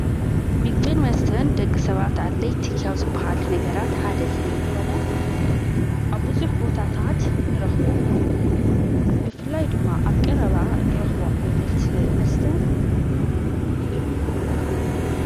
ምግዜን ወስተን ደቂ ሰባት ኣድለይ ቲኪያው ዝብሃሊ ነገራት ሓደ ስለለኾነ ኣብዙኅ ቦታታት ንረኽቦ ብፍላይ ድማ ኣብ ቀ ረባ ንረኽቦ ዓይነት መስተ ቡኑ እዩ።